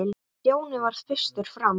Stjáni varð fyrstur fram.